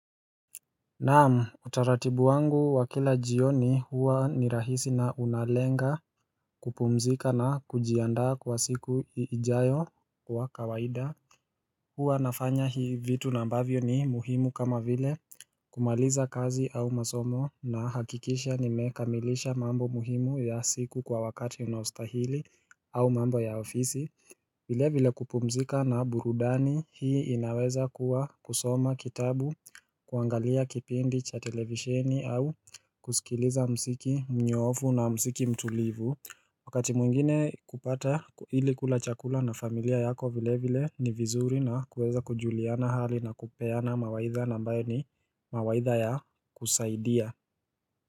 Naam utaratibu wangu wa kila jioni huwa ni rahisi na unalenga kupumzika na kujiandaa kwa siku ijayo wa kawaida Huwa nafanya hii vitu na mbavyo ni muhimu kama vile kumaliza kazi au masomo na hakikisha nimekamilisha mambo muhimu ya siku kwa wakati unaostahili au mambo ya ofisi vile vile kupumzika na burudani hii inaweza kuwa kusoma kitabu, kuangalia kipindi cha televisheni au kusikiliza msiki mnyoofu na msiki mtulivu Wakati mwingine kupata ilikula chakula na familia yako vile vile ni vizuri na kuweza kujuliana hali na kupeana mawaidha nambayo ni mawaidha ya kusaidia.